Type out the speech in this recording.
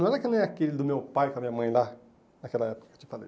Não era que nem aquele do meu pai com a minha mãe lá, naquela época que eu te falei.